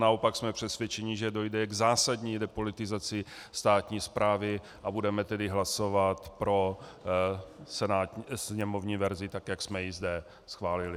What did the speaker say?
Naopak jsme přesvědčeni, že dojde k zásadní depolitizaci státní správy, a budeme tedy hlasovat pro sněmovní verzi, tak jak jsme ji zde schválili.